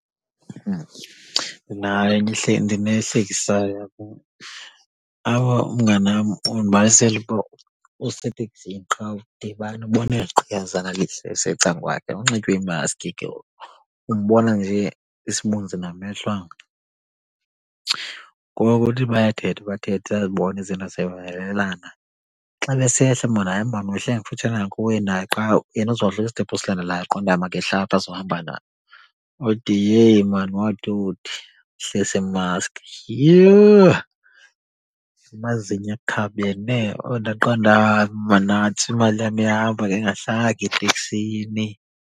Ndinayo ndinehlekisayo yabo. Apha umnganam undibalisela uba useteksini qha udibana ubona eli gqiyazana lihle lisecakwakhe kunxitywe iimaski ke ngoku umbona nje isibunzi namehlo anga. Ngoku uthi bayathetha, bathethe uyazibona izinto ziyavumelelana. Xa besehla maan hayi maan wehla ngakufutshane kakhulu kunaye qha yena uzawuhla kwistophu silandelayo waqonda ba makehle apha azohamba naye. Uthi heyi maan, wathi uthi wehlisa imaski, yhooo amazinyo akhabene. Uthi ndaqonda uba hayi maan nantsi imali yam ihamba ngendingahlanga eteksini.